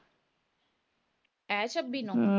ਇਹ ਸ਼ਬੀ ਨੂੰ